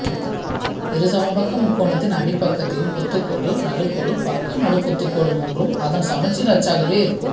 இருசமபக்க முக்கோணத்தின் அடிப்பக்கத்தின் குத்துக்கோடு நடுக்கோடு பக்க நடுக்குத்துக்கோடு மூன்றும் அதன் சமச்சீர் அச்சாகவே இருக்கும்